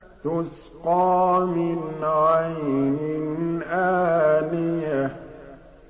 تُسْقَىٰ مِنْ عَيْنٍ آنِيَةٍ